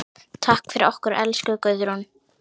Takk fyrir okkur, elsku Guðrún.